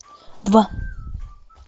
два